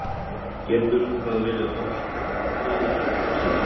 Getur það verið hollt fyrir axlirnar?